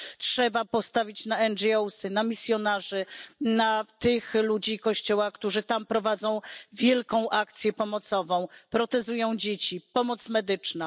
Trzeba postawić na NGO, na misjonarzy, na tych ludzi Kościoła, którzy tam prowadzą wielką akcję pomocową, protezują dzieci, na pomoc medyczną.